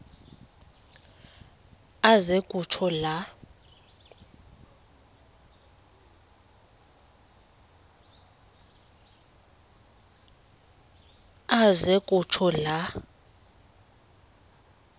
aze kutsho la